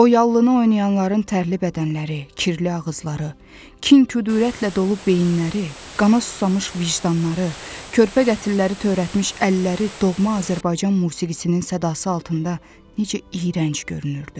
O yallını oynayanların tərli bədənləri, kirli ağızları, kin-kudurətlə dolu beyinləri, qana susamış vicdanları, körpə qətlilləri törətmiş əlləri doğma Azərbaycan musiqisinin sədası altında necə iyrənc görünürdü.